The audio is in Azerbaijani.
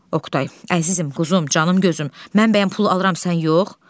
Oqtay, əzizim, quzum, canım gözüm, mən bəyəm pul alıram, sən yox?